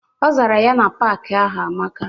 Ọ zara ya na paaki ahụ amaka.